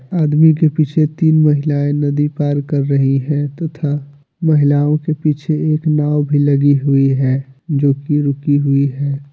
आदमी के पीछे तीन महिलाएं नदी पार कर रही है तथा महिलाओं के पीछे एक नाव भी लगी हुई है जो कि रुकी हुई है।